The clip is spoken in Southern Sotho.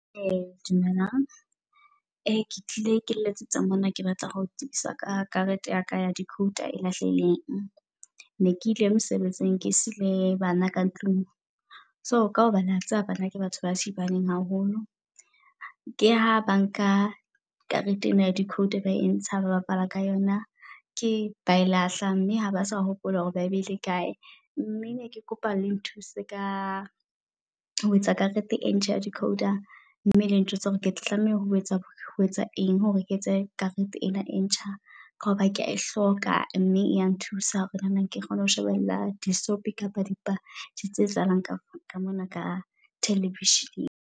Dumelang e tlile ke letsetsa mona, ke batla ho tsebisa ka karete ya ka ya decoder e lahlehileng. Ne ke ile mosebetsing ke sile bana ka tlung so ka hobane wa tseba bana ke batho ba thibaneng haholo. Ke ha ba nka karete ena ya decoder ba e ntsha ba bapala ka yona ke bae lahla mme ha ba sa hopola hore ba e beile kae. Mme ne ke kopa le nthuse ka ho etsa karete e ntjha ya decoder, mme le ntjwetse hore ke tla tlameha ho etsa ho etsa eng hore ke etse karete ena e ntjha. Ka hoba kea e hloka mme ya nthusa hore nana ke kgone ho shebella di soapie kapa dipale tsese etsahalang ka mona ka television-eng.